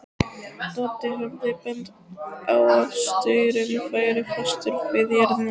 Doddi hafði bent á að staurinn væri fastur við jörðina.